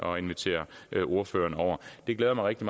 og invitere ordførererne over det glæder mig rigtig